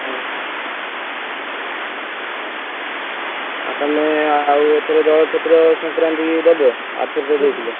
ଓହୋ ଆଉ ତାହେଲେ ଆଉ ଏଥର ଜଳଛତ୍ର ଦବ ଆରଥର ତ ଦେଇଥିଲ?